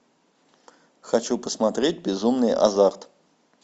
хочу посмотреть безумный азарт